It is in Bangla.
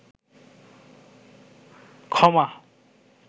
ক্ষমা